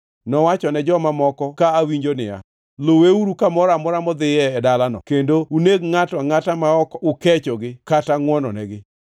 Nowachone joma moko ka awinjo niya, “Luweuru kamoro amora modhiye e dalano kendo uneg ngʼato angʼata ma ok ukechogi kata ngʼwononegi.